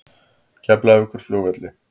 Keflavíkurflugvelli